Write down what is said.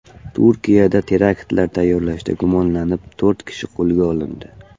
Turkiyada teraktlar tayyorlashda gumonlanib, to‘rt kishi qo‘lga olindi.